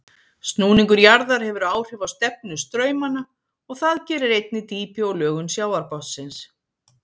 Snúningur jarðar hefur áhrif á stefnu straumanna og það gerir einnig dýpi og lögun sjávarbotnsins.